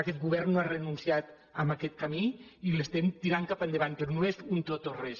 aquest govern no ha renunciat a aquest camí i l’estem tirant cap endavant però no és un tot o res